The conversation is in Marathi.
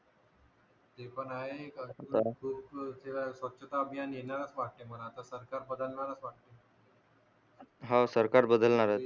हव सरकार बदलणार आहेत